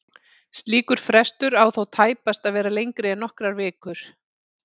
Slíkur frestur á þó tæpast að vera lengri en nokkrar vikur.